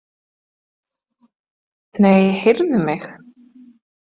Nei, heyrðu mig.